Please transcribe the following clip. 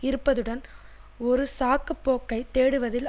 இருப்பதுடன் ஒரு சாக்குப்போக்கைத் தேடுவதில்